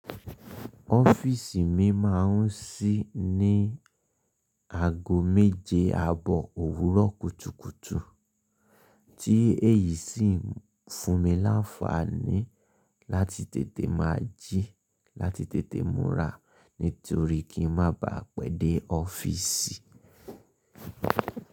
Ọ́fíìsì mi máa ń ṣí ní ago méje abọ́ òwúrọ̀ kùtùkùtù tí èyí sì ń fún mi láfààní láti tètè máa jí láti tètè múra nítorí kí n má baà pẹ́ dé ọ́fíìsì.